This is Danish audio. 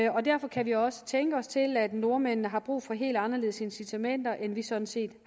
og derfor kan vi også tænke os til at nordmændene har brug for helt anderledes incitamenter end vi sådan set